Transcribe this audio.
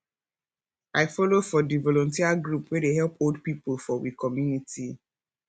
i folo for di volunteer group wey dey help old pipo for we community